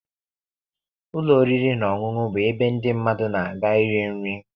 Ụlọ oriri na ọṅụṅụ bụ ebe ndị mmadụ na-aga iri nri